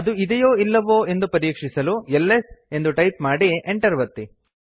ಅದು ಇದೆಯೋ ಅಥವಾ ಇಲ್ಲವೋ ಎಂದು ಪರೀಕ್ಷಿಸಲು ಎಲ್ಎಸ್ ಎಂದು ಟೈಪ್ ಮಾಡಿ enter ಒತ್ತಿ